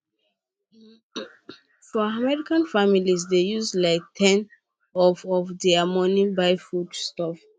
for america families dey use like ten of of their money buy foodstuff